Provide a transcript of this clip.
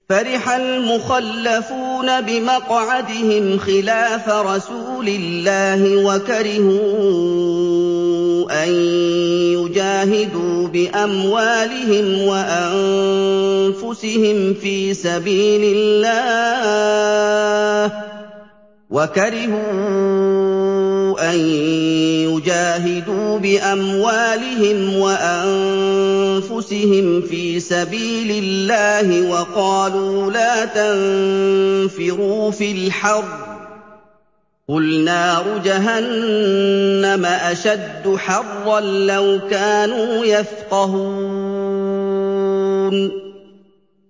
فَرِحَ الْمُخَلَّفُونَ بِمَقْعَدِهِمْ خِلَافَ رَسُولِ اللَّهِ وَكَرِهُوا أَن يُجَاهِدُوا بِأَمْوَالِهِمْ وَأَنفُسِهِمْ فِي سَبِيلِ اللَّهِ وَقَالُوا لَا تَنفِرُوا فِي الْحَرِّ ۗ قُلْ نَارُ جَهَنَّمَ أَشَدُّ حَرًّا ۚ لَّوْ كَانُوا يَفْقَهُونَ